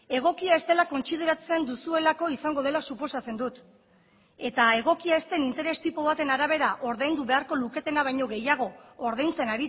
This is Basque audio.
egokia ez dela kontsideratzen duzuelako izango dela suposatzen dut eta egokia ez den interes tipo baten arabera ordaindu beharko luketena baino gehiago ordaintzen